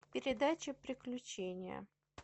передача приключения